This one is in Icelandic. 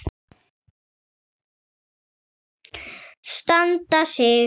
Standa sig.